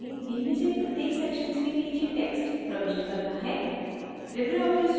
अब हमें इनमें से प्रत्येक sections के नीचे text प्रविष्ट करना है